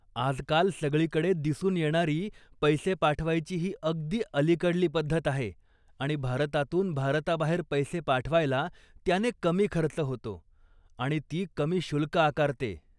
आजकाल सगळीकडे दिसून येणारी पैसे पाठवायची ही अगदी अलीकडली पद्धत आहे आणि भारतातून भारताबाहेर पैसे पाठवायला त्याने कमी खर्च होतो आणि ती कमी शुल्क आकारते.